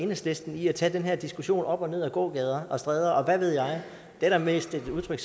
enhedslisten i at tage den her diskussion op og ned ad gågader og stræder og hvad ved jeg det er da mest et udtryk